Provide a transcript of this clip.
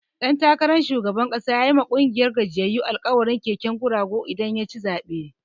Ɗan takaran shugaban ƙasa yayi ma ƙungiyar gajiyyayu alkawarin keken guragu idan yaci zaɓe.